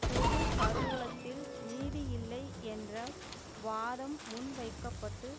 பொது கருவூலத்தில் நிதி இல்லை என்ற வாதம் முன்வைக்க பட்டு